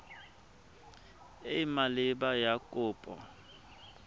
e e maleba ya kopo